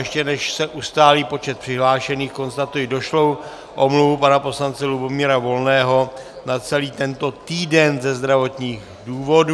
Ještě než se ustálí počet přihlášených, konstatuji došlou omluvu pana poslance Lubomíra Volného na celý tento týden ze zdravotních důvodů.